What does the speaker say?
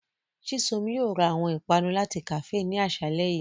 Chisom yóò ra awọn ipanu lati kafee ni aṣalẹ yii.